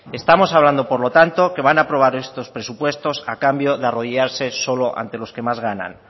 estamos hablando por lo tanto que van a aprobar estos presupuestos a cambio de arrodillarse solo ante los que más ganan